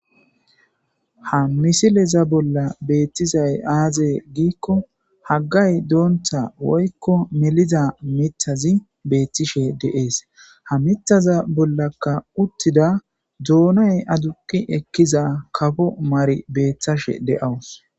Ha misileza bolla betizay aze giko hangey banda melida mithazi betishe de'es ha mithaxa bollaka uttida doonay aduqi Ekiza kapo Mari betashe de'aws.